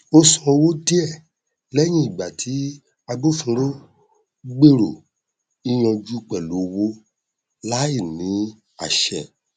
ó san owó díẹ lẹyìn ìgbà tí agbófinró gbèrò yíyanjú pẹlú owó láì ní àṣẹ